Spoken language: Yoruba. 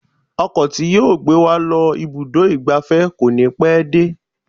Ọkọ̀ tí yóò gbé wa lọ ibùdó ìgbafẹ́ kò ní pẹ́ dé.